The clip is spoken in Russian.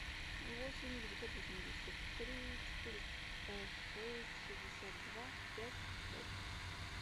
восемь девятьсот восемьдесят три четыреста шесть шестьдесят два пять пять